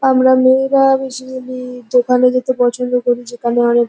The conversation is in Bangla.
আমরা মেয়েরা বেসিক্যালি যেখানে যেতে পছন্দ করি যেখানে অনেক--